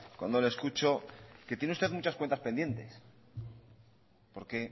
cuando le escucho que tiene usted muchas cuentas pendientes porque